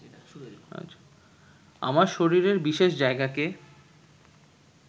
আমার শরীরের বিশেষ জায়গাকে